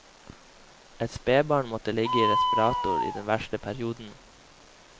Ett spebarn måtte ligge i respirator i den verste perioden.